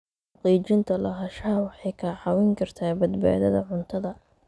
Xaqiijinta lahaanshaha waxay kaa caawin kartaa badbaadada cuntada.